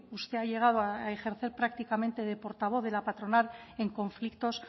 usted ha llegado a ejercer prácticamente de portavoz de la patronal en conflictos